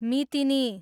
मितिनी